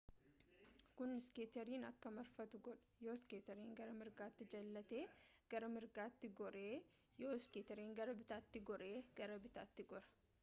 kuni iskeeterin akka marfatu godha yoo iskeetiin gara mirgaatti jallate gara mirgaatti goora yoo iskeetiin gara bitaatti gore gara bittaatti gora